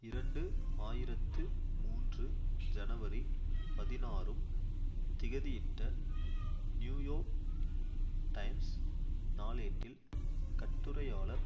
இரண்டு ஆயிரத்து மூன்று ஜனவரி பதினாறும் திகதியிட்ட நியூயோர்க் டைம்ஸ் நாளேட்டில் கட்டுரையாளர்